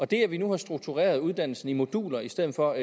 det at vi nu har struktureret uddannelsen i moduler i stedet for